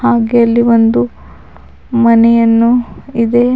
ಹಾಗೆ ಅಲ್ಲಿ ಒಂದು ಮನೆಯನ್ನು ಇದೆ.